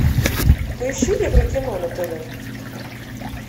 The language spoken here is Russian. поищи еврокино на тв